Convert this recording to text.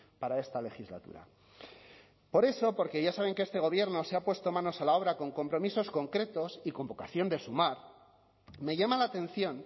para esta legislatura por eso porque ya saben que este gobierno se ha puesto manos a la obra con compromisos concretos y con vocación de sumar me llama la atención